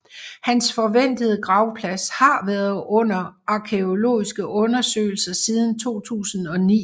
Hans forventede gravplads har været under arkæologiske undersøgelser siden 2009